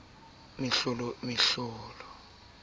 o ne a thabetse ho